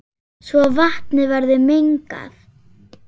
svo vatnið verður mengað.